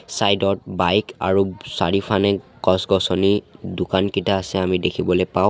Side ত bike আৰু চাৰিওফানে গছ-গছনি দোকানকিতা আছে আমি দেখিবলৈ পাওঁ।